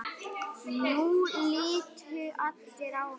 Nú litu allir á hann.